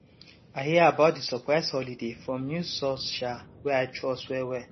i hear about di surprise holiday from news source um wey i trust well well